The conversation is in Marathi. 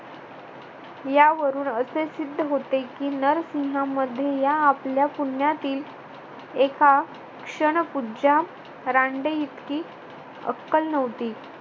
यावरून असे सिद्ध होते, की नरसिंह मध्ये या आपल्या पुण्यातील एका क्षणपूजा रांडेइतकी अक्कल नव्हती.